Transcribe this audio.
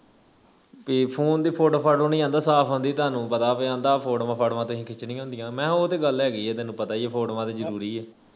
ਕੀ phone ਦੀ photo ਪਾ ਦੋ ਨਹੀਂ ਆਂਦਾ ਸਾਫ ਆਂਦੀ ਤੁਹਾਨੂੰ ਪਤਾ ਬਈ ਆਂਦਾ ਫੋਟੋਵਾਂ ਫਾਟਵਾਂ ਖਿੱਚਣੀਆਂ ਹੁੰਦੀਆਂ ਮੈਂ ਉਹ ਤੇ ਗੱਲ ਹੈਗੀ ਆਂ ਤੈਨੂੰ ਪਤਾ ਈ ਆ ਫੋਟੋਵਾਂ ਤੇ ਜਰੂਰੀ ਆ